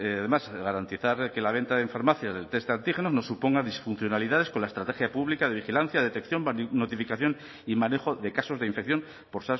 además garantizar que la venta en farmacias de test de antígenos no suponga disfuncionalidades con la estrategia pública de vigilancia detección notificación y manejo de casos de infección por